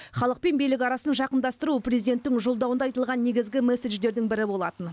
халық пен билік арасын жақындастыру президенттің жолдауында айтылған негізгі месседжердің бірі болатын